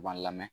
U b'an lamɛn